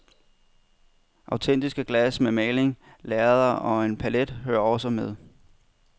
Autentiske glas med maling, lærreder og en palet hører også med.